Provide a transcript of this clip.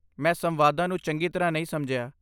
ਮੈਂ ਸੰਵਾਦਾਂ ਨੂੰ ਚੰਗੀ ਤਰ੍ਹਾਂ ਨਹੀਂ ਸਮਝਿਆ।